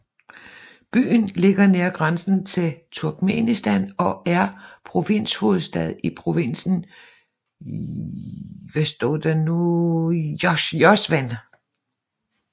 Byen ligger nær grænsen til Turkmenistan og er provinshovedstad i provinsen Jowzjan